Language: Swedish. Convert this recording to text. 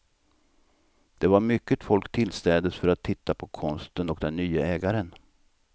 Det var mycket folk tillstädes för att titta på konsten och den nye ägaren.